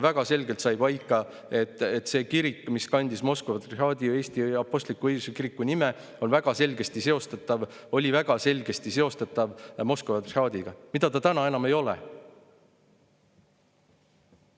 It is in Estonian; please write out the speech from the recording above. Väga selgelt sai paika, et see kirik, mis kandis Moskva Patriarhaadi Eesti Kiriku nime, oli väga selgesti seostatav Moskva patriarhaadiga, täna ta seda enam ei ole.